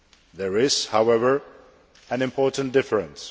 There is, however, an important difference.